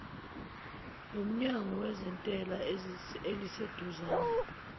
lomnyango wezentela eliseduzane